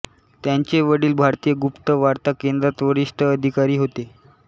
त्यांचे वडील भारतीय गुप्तवार्ता केंद्रात वरिष्ठ अधिकारी होते